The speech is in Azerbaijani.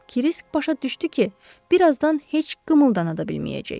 Krisk başa düşdü ki, birazdan heç qımıldana da bilməyəcək.